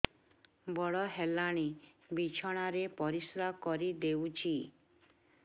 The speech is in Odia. ବଡ଼ ହେଲାଣି ବିଛଣା ରେ ପରିସ୍ରା କରିଦେଉଛି